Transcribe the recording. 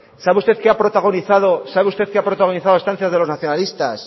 sabe usted qué ha protagonizado sabe usted que ha protagonizado a instancias de los nacionalistas